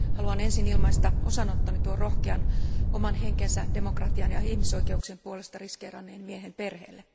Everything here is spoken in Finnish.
Haluan ensin ilmaista osanottoni tuon rohkean, oman henkensä demokratian ja ihmisoikeuksien puolesta riskeeranneen miehen perheelle.